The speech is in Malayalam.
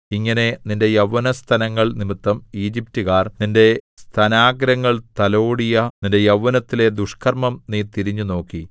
ഇങ്ങനെ നിന്റെ യൗവനസ്തനങ്ങൾ നിമിത്തം ഈജിപ്റ്റുകാർ നിന്റെ സ്തനാഗ്രങ്ങൾ തലോടിയ നിന്റെ യൗവനത്തിലെ ദുഷ്കർമ്മം നീ തിരിഞ്ഞുനോക്കി